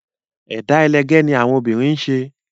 Ẹ̀dá ẹlẹgẹ́ ni àwọn obìnrin ń ṣe